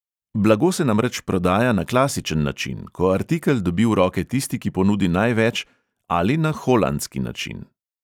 Blago se namreč prodaja na klasičen način, ko artikel dobi v roke tisti, ki ponudi največ, ali na holandski način.